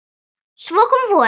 Svo kom vorið.